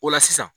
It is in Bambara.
O la sisan